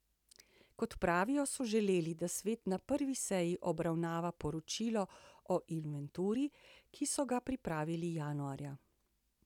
Kot pravijo, so želeli, da svet na prvi seji obravnava poročilo o inventuri, ki so ga pripravili januarja.